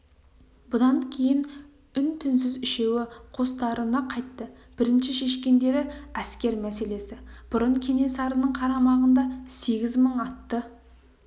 бұдан кейін үн-түнсіз үшеуі қостарына қайтты бірінші шешкендері әскер мәселесі бұрын кенесарының қарамағында сегіз мың атты